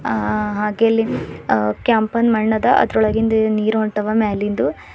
ಹಾ ಹಾಗೆ ಇಲ್ಲಿ ಕೆಂಪುನ್ ಮಣ್ ಅದ ಅದರೊಳಗಿಂದು ನೀರು ಹೊಂಟವ ಮ್ಯಾಲಿಂದು.